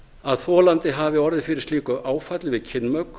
að þolandi hafi orðið fyrir slíku áfalli við kynmök